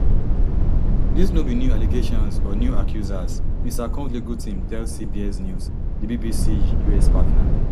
dis no be new allegations or new accusers mr combs legal team tell cbs news di bbc us partner